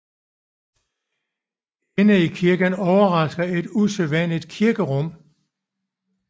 Inde i kirken overrasker et usædvanligt kirkerum